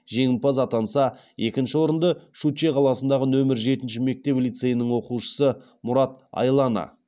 жеңімпаз атанса екінші орынды щучье қаласындағы нөмір жетінші мектеп лицейінің оқушысы мұрат айлана